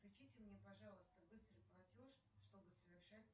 включите мне пожалуйста быстрый платеж чтобы совершать